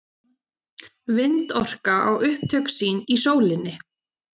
Vindorka á upptök sín í sólinni.